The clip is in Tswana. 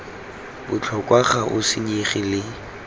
botlhokwa ga o senyege le